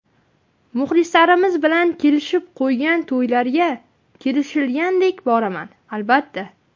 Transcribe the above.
Muxlislarimiz bilan kelishib qo‘ygan to‘ylarga, kelishilganidek boraman, albatta.